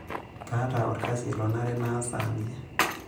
Kaata olkasi lonare naas saanji.